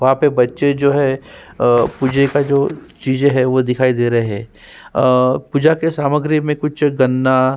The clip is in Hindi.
वहाँ पे बचें जो हैं बहुत ही सारी जो हैं चीज़े वो दिखाई दे रहें हैं अ पूजा के सामगिरि में कुछ गंगा --